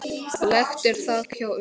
Lekt er þak hjá Jukka.